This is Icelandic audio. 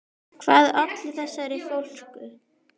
Hvað olli þessari fólsku?